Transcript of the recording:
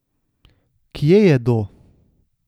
Kje jedo?